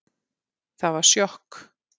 Það var sjokk